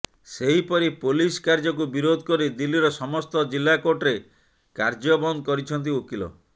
ସେହିପରି ପୋଲିସ କାର୍ଯ୍ୟକୁ ବିରୋଧ କରି ଦିଲ୍ଲୀର ସମସ୍ତ ଜିଲ୍ଲା କୋର୍ଟରେ କାର୍ଯ୍ୟ ବନ୍ଦ କରିଛନ୍ତି ଓକିଲ